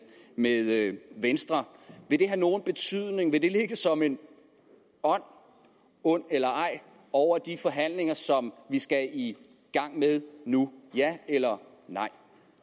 med venstre vil det have nogen betydning vil det ligge som en ånd ond eller ej over de forhandlinger som vi skal i gang med nu ja eller nej